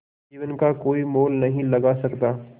जीवन का कोई मोल नहीं लगा सकता